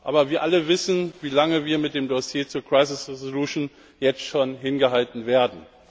Aber wir alle wissen, wie lange wir mit dem Dossier zur crisis resolution jetzt schon hingehalten werden.